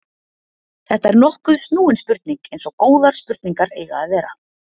þetta er nokkuð snúin spurning eins og góðar spurningar eiga að vera